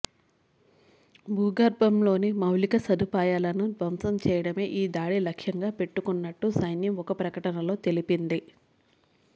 భూగర్భంలోని మౌలిక సదుపాయాలను ధ్వంసం చేయడమే ఈ దాడి లక్ష్యంగా పెట్టుకున్నట్టు సైన్యం ఒక ప్రకటనలో తెలిపింది